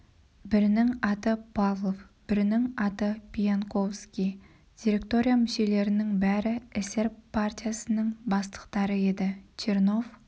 бірінің аты павлов бірінің аты пиянковский директория мүшелерінің бәрі эсер партиясының бастықтары еді чернов